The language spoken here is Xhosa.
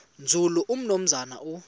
nzulu umnumzana u